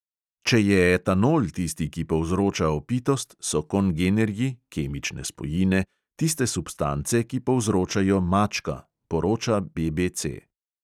"Če je etanol tisti, ki povzroča opitost, so kongenerji (kemične spojine) tiste substance, ki povzročajo mačka," poroča BBC.